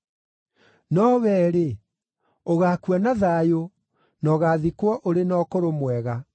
No wee-rĩ, ũgaakua na thayũ, na ũgaathikwo ũrĩ na ũkũrũ mwega.